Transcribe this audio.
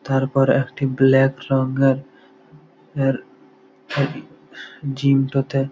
তারপরে একটি ব্ল্যাক রং-এর এর আই জিম -টো তে--